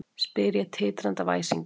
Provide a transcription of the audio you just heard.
spyr ég, titrandi af æsingi.